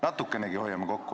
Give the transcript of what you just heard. Natukenegi hoiaksime kokku.